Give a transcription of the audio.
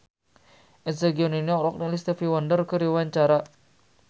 Eza Gionino olohok ningali Stevie Wonder keur diwawancara